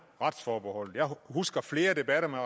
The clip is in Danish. retsforbeholdet jeg husker flere debatter med